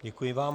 Děkuji vám.